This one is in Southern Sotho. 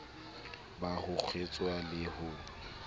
ba ho kgeswa le ho